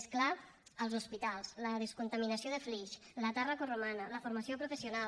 més clar els hospitals la descontaminació de flix la tàrraco romana la formació professional